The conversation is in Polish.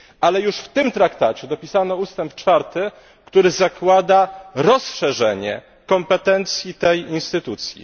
Ale już w tym traktacie dopisano ustęp 4, który zakłada rozszerzenie kompetencji tej instytucji.